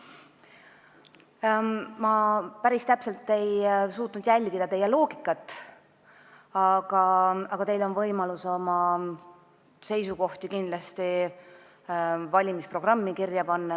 Ma päris täpselt ei suutnud teie loogikat jälgida, aga teil on võimalus oma seisukohad valimisprogrammi kirja panna.